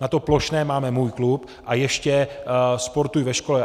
Na to plošné máme Můj klub a ještě Sportuj ve škole.